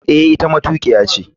Eh, ita matukiya ce.